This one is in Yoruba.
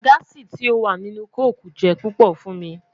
Gaasi ti o wa ninu koko jẹ pupọ fun mi